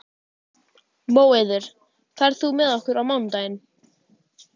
Móeiður, ferð þú með okkur á mánudaginn?